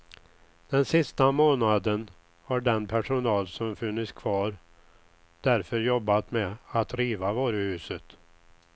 Den sista månaden har den personal som funnits kvar därför jobbat med att riva varuhuset.